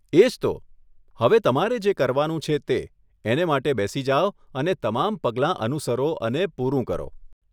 એજ તો. હવે તમારે જે કરવાનું છે તે, એને માટે બેસી જાવ અને તમામ પગલાં અનુસરો અને પૂરું કરો.